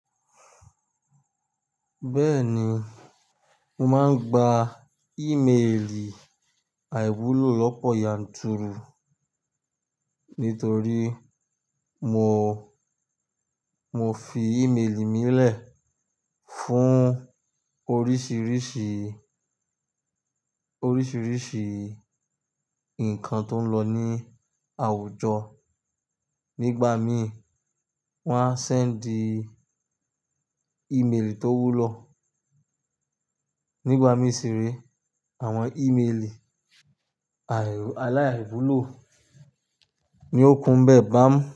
Bẹ́ẹ̀ni, mo máa ń gba ìméèlì àìwúlò lọ̀pọ̀ yanturu, nítorí mo, mo fi ìméèlì mì lẹ̀ fún oríṣìríṣì, oríṣìíríṣìí ǹkan tó ń lọ ní àwùjọ. Nígbà mí wọ́n á sẹ́ńdì ìméèlì tó wúlò. Nígbà mí ṣì re àwọn ìméèlì aláìwúlò ni ó kún bẹ́ẹ̀ bá mi.